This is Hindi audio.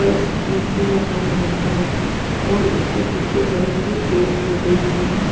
पर स्टील भी लगा हुआ है और उसके पीछे बड़े-बड़े पेड़-पौधे भी हैं.